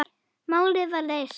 Málið var leyst.